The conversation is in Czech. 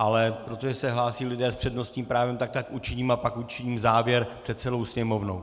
Ale protože se hlásí lidé s přednostním právem, tak tak učiním, a pak učiním závěr před celou sněmovnou.